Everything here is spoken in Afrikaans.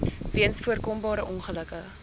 weens voorkombare ongelukke